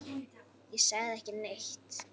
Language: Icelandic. Ég sagði ekki neitt.